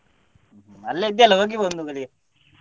ಅಲ್ಲೇ ಇದ್ದೀಯಲ್ಲ ಹೋಗಿ ಬಾ ಒಂದು ಗಳಿಗೆ.